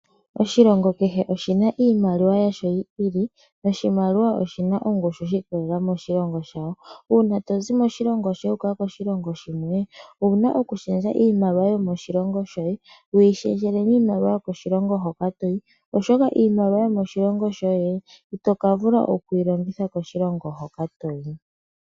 Oshilongo kehe oshina iimaliwa yasho yi ili noshimaliwa oshina ongushu shi ikolelela moshilongo shawo. uuna tozi moshilongo shoye wu uka koshilongo shimwe owuna okushendja iimaliwa yo moshilongo shoye wu yishendjele miimaliwa yo koshilongo hoka toyi . Oshoka iimaliwa yomoshilongo shoye ito kavula okuyi longitha koshilongo hoka toyi.